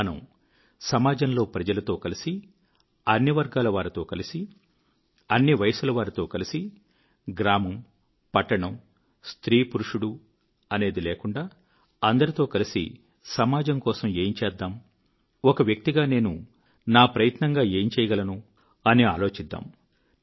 మనము సమాజంలో ప్రజలతో కలిసి అన్ని వర్గాలవారితో కలిసి అన్ని వయసుల వారితో కలిసి గ్రామమూ పట్టణమూ స్త్రీ పురుషుడు అని లేక అందరితో కలిసి సమాజం కొఱకు ఏం చేద్దాం ఒక వ్యక్తిగా నేను నా ప్రయత్నంగా ఏం చేయగలను అని ఆలోచిద్దాం